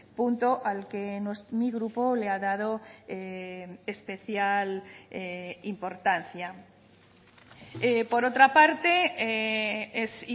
punto al que mi grupo le ha dado especial importancia por otra parte es